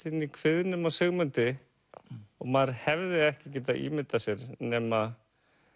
inn í kviðnum á Sigmundi og maður hefði ekki getað ímyndað sér nema